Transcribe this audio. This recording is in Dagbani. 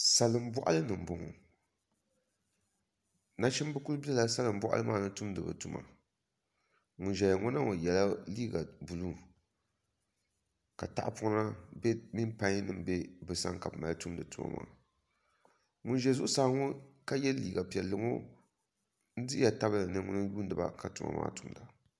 Salin boɣali ni n boŋo nachimbi ku biɛla salin boɣali maa ni tumdi bi tuma ŋun ʒɛya ŋo na yɛla liiga buluu ka tahapona mini pai nim bɛ bi sani ka bi mali tumdi tuma maa ŋun ʒɛ zuɣusaa ŋo ka yɛ liiga piɛlli ŋo n dihiya tabili ni ŋuni n yuundiba ka tuma maa tumda